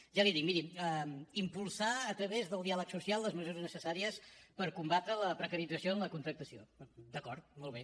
ja l’hi dic miri impulsar a través del diàleg social les mesures necessàries per combatre la precarització en la contractació d’acord molt bé